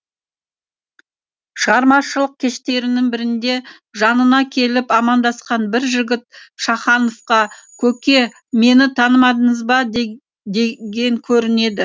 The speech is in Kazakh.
шығармашылық кештерінің бірінде жанына келіп амандасқан бір жігіт шахановқа көке мені танымадыңыз ба деген көрінеді